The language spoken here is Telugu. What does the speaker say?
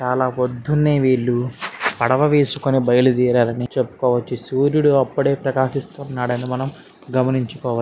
చాలా పొద్దున్నే వీళ్ళు పడవ వేసుకుని బయలుదేరారని చెప్పుకోవచ్చు. సూర్యుడు అప్పుడే ప్రకాశిస్తున్నాడని మనం గమనించుకోవచ్చు.